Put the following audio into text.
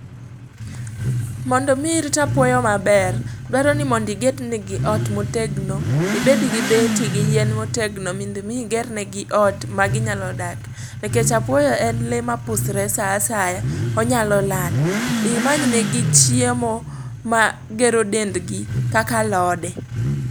Mondo mii irit apuoyo maber, dwaro ni mondo iged ne gi ot motegno. Ibed gi beti gi yien motegno, mondo mii iger ne gi ot ma ginyalo dak. Nikech apuoyo en lee mapusre saa asaya, onyalo lal. Imany negi chiemo magero dendi kaka alode.